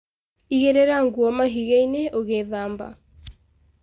Igĩrĩra nguo mahigaĩnĩ ũgĩthamba